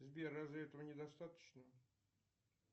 сбер разве этого недостаточно